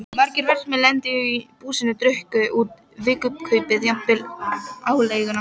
Margir verkamenn lentu í búsinu, drukku út vikukaupið, jafnvel aleiguna.